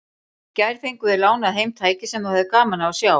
Í gær fengum við lánað heim tæki sem þú hefðir gaman af að sjá.